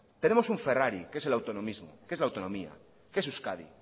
tenemos un ferrari que es el autonomismo que es es la autonomía que es euskadi